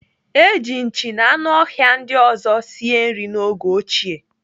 Eji nchi na anụ ọhịa ndị ọzọ sie nri n'oge ochie.